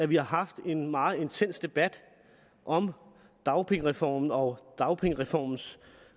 vi har haft en meget intens debat om dagpengereformen og dagpengereformens